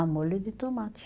Ah, molho de tomate.